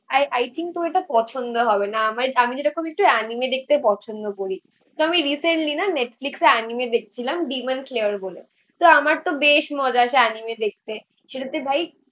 I think তো এটা পছন্দ হবে না. আমি যেরকম একটু অ্যানিমে দেখতে পছন্দ করি. তো আমি রিসেন্টলি না নেটফ্লিক্সে অ্যানিমে দেখছিলাম ডিম্যান্ড ক্লেয়ার বলে তো আমার তো বেশ মজা এনিমে দেখতে. সেটাতে ভাই